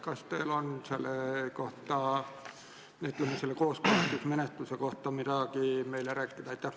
Kas teil on selle kooskõlastusmenetluse kohta midagi meile rääkida?